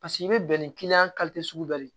Paseke i bɛ bɛn ni sugu dɔ ye